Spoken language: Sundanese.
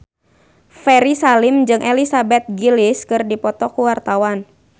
Ferry Salim jeung Elizabeth Gillies keur dipoto ku wartawan